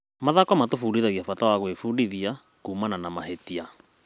Mathako matũbundithagia bata wa gwĩbundithia kuumana na mahĩtia.